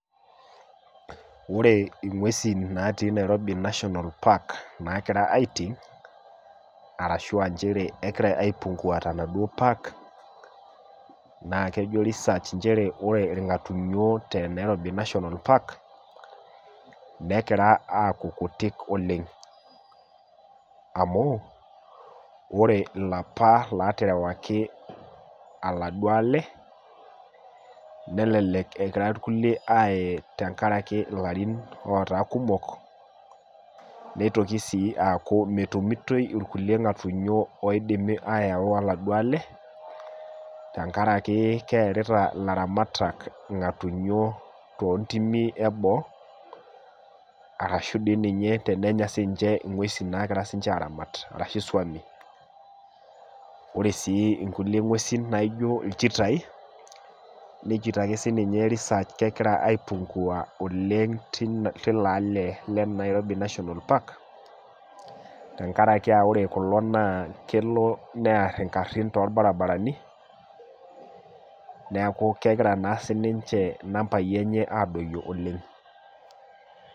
Wore ing'uesin natii Nairobi National park naakira aiting, arashu aa nchere kekira aipungua tenaduo park, naa kejo research nchere wore ing'artunyo te Nairobi National park, nekira aaku kutik oleng'. Amu, wore ilapa laaterewaki oladuo ale, nelelek ekira irkulie aaye tenkaraki ilarin ootaa kumok, nitoki sii aaku metumitoi irkulie ng,atunyo oidimi aayawu oladuo ale, tenkaraki kearita ilaramatak ilng'atunyo toontimi eboo, arashu dii ninye tenenya siinche inguesin naakira sinche aaramat arashu isuami. Wore sii inkulie ngwesin naaijo ilchitai, nejito ake sininye research kekira aipungua oleng' tilo ale le Nairobi National park, tenkaraki wore kulo naa kelo near inkarrin too lbarabarani, neeku kekira naa sininche nambai enye aadoyio oleng'.